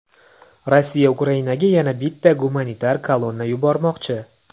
Rossiya Ukrainaga yana bitta gumanitar kolonna yubormoqchi.